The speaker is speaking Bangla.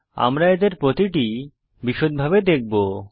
আমরা এদের প্রতিটি বিষদভাবে দেখবো